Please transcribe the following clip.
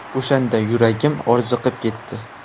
O‘shanda yuragim orziqib ketdi.